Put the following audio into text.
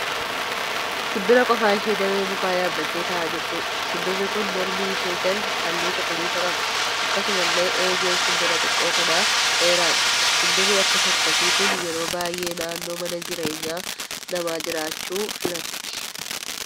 Simbira qofaa ishee damee mukaa yaabbattee ta'aa jirtuudha. Simbirri kun mormi ishee jalli halluu cuquliisa qaba. Akkasumallee eegeen simbira xiqqoo kanaa dheeraadha. Simbirri akkas akkasii kun yeroo baay'ee naannoo mana jireenyaa namaa jiraachu filatti.